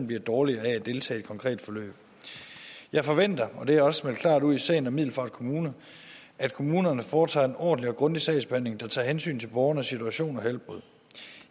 bliver dårligere af at deltage i et konkret forløb jeg forventer og det har jeg også meldt klart ud i sagen om middelfart kommune at kommunerne foretager en ordentlig og grundig sagsbehandling der tager hensyn til borgernes situation og helbred